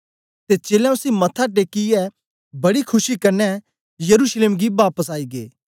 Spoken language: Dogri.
ते चेलें उसी मत्था टेकियै बड़ी खुशी कन्ने यरूशलेम गी बापस आई गै